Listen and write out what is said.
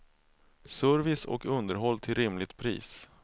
Service och underhåll till rimligt pris.